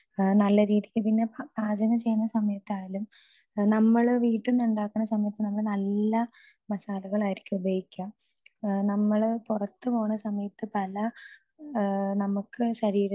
speaker 2 നല്ല രീതിക്ക് പിന്നെ കാര്യങ്ങൾ ചെയ്യുന്ന സമയത്തായാലും നമ്മള് വീട്ടീന്ന് ഉണ്ടാക്കുന്ന സമയത്ത് നമ്മൾ നല്ല മസാലകളായിരിക്കും ഉപയോഗിക്ക നമ്മള് പുറത്തുപോണ സമയത്ത് പല നമുക്ക്